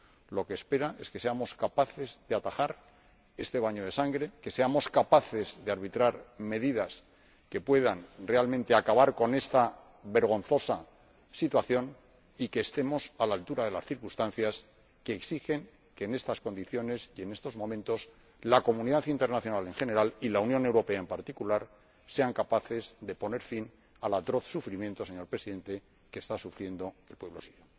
Lo que esperan es que seamos capaces de atajar este baño de sangre, que seamos capaces de arbitrar medidas que puedan realmente acabar con esta vergonzosa situación y que estemos a la altura de las circunstancias, que exigen que en estas condiciones y en estos momentos la comunidad internacional en general, y la Unión Europea en particular, sean capaces de poner fin al atroz sufrimiento, señor Presidente, que está padeciendo el pueblo sirio.